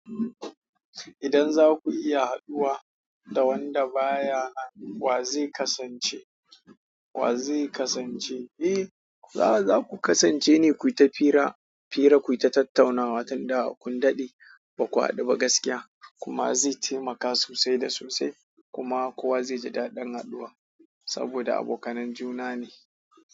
Idan za ku iya haɗuwa da wanda ba ya nan, wa zai kasance? Wa zai kasance? Eh, za ku kasance ne kuyi ta fira, fira ku yi ta tattaunawa tun da kun daɗe ba ku haɗu ba gaskiya kuma zai taimaka sosai da sosai kuma kowa zai ji daɗin haduwan. Saboda abokanan juna ne.